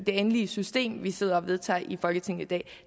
endelige system vi sidder og vedtager i folketinget i dag